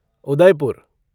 Udaipur